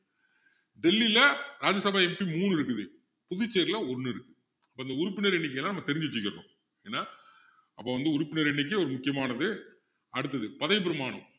டெல்லியில ராஜ்ய சபா MP மூணு இருக்குது புதுச்சேரில ஒண்ணு இருக்கு அந்த உறுப்பினர் எண்ணிக்கை எல்லாம் நம்ம தெரிஞ்சு வச்சிக்கிறணும் ஏன்னா அப்போ வந்து உறுப்பினர் எண்ணிக்கை ஒரு முக்கியமானது அடுத்தது பதவிப் பிரமாணம்